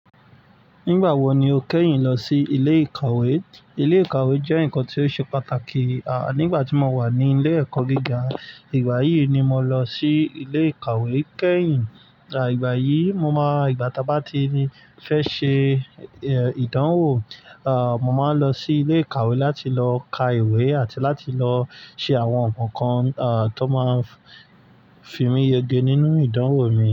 Nígbà wo ni o kẹ́yìn lọ sí ilé ìkàwé? Ilé ìkàwé jẹ́ nǹkan tí ó ṣe pàtàkì. À, nígbà tí mo wà ní ilé ẹ̀kọ́ gíga, ìgbà yìí ni mo lọ sí ilé ìkàwé kẹ́yìn. À, ìgbà yìí mo máa, ìgbà tá bá tii fẹ́ ṣe, eh, ìdánwò, à, mo máa ń lọ sí ilé ìkàwé láti lọ ka ìwé àti láti lọ ṣe àwọn nǹkan kan, à, tó máa fi míyege nínú ìdánwò mi.